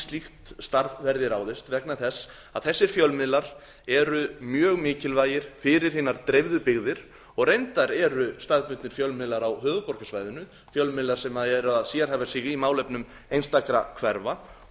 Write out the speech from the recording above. slíkt starf verði ráðist vegna þess að þessir fjölmiðlar eru mjög mikilvægir fyrir hinar dreifðu byggðir og reyndar eru staðbundnir fjölmiðlar á höfuðborgarsvæðinu fjölmiðlar sem eru að sérhæfa sig í málefnum einstakra hverfa og